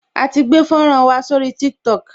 A ti gbé fọ́nrán wa sórí Tiktok